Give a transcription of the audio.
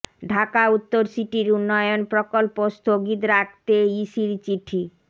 ঢাকা উত্তর সিটির উন্নয়ন প্রকল্প স্থগিত রাখতে ইসির চিঠি